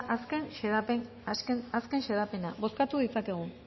azken xedapena bozkatu ditzakegu